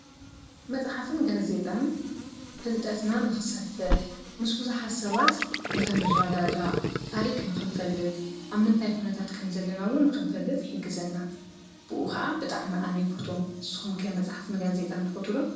መፅሓፍትን ጋዝ ዜጣን ፍልጠትና ንኽሰፍሕ ምስ ብዙሓት ሰባት ንኽንራዳዳእ ታሪክ ንኽንፈልጥ ኣብ ምንታይ ኩነታት ከም ዘለና ውን ንኽንፈልጥ ይሕግዘና፡፡ ብኡ ኸዓ ብጣዕሚ ኣነ ይፈትዎም ንስኹም ከ መፅሓፍን ጋዝ ዜጣን ትፈትው ዶ?